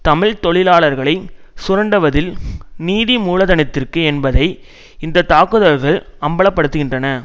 தமிழ் தொழிலாளர்களை சுரண்டுவதில் நிதி மூலதனத்திற்கு என்பதை இந்த தாக்குதல்கள் அம்பலப்படுத்துகின்றன